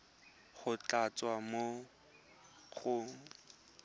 go tla tswa mo go